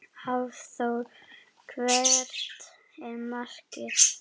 Hafþór: Hvert er markið?